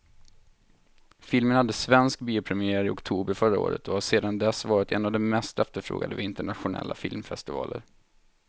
Filmen hade svensk biopremiär i oktober förra året och har sedan dess varit en av de mest efterfrågade vid internationella filmfestivaler.